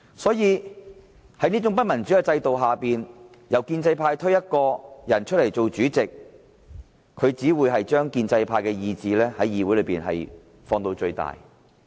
在這種不民主的制度下，由建制派推選一位議員擔任主席，只會把建制派的意志在議會中放到最大。